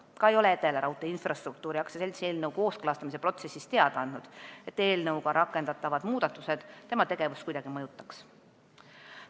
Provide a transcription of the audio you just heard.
Ka ei ole Edelaraudtee Infrastruktuuri AS eelnõu kooskõlastamise protsessis teada andnud, et eelnõuga rakendatavad muudatused tema tegevust kuidagi mõjutaks.